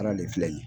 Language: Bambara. Fana de filɛ nin ye